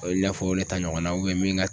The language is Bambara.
O ye n'a fɔ ne ta ɲɔgɔnna min ka